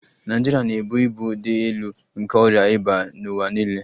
Naịjirịa na-ebu ibu dị elu nke ọrịa ịba n'ụwa niile